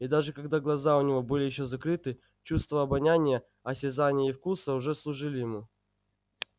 и даже когда глаза у него были ещё закрыты чувства обоняния осязания и вкуса уже служили ему